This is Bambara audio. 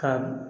Ka